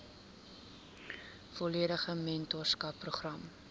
volledige mentorskap program